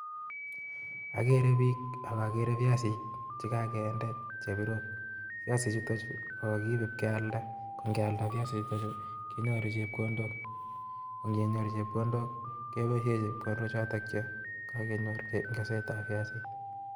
Agere biik ak akere biasik chekokinde chebirok, biasinik chuton Chu kokiibe koba kealda ko ngealda kenyoru chepkondok, koo inventor chepkondook keboishien chepkondook choton chekokenyor kesetaen kasit